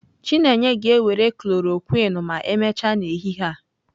Chineye ga-ewere khlorokwin ma emechaa n'ehihie a.